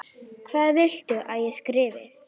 Hvað viltu að ég skrifi?